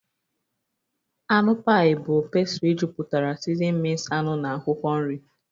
Anụ pie bụ pastry jupụtara seasoned minced anụ na akwụkwọ nri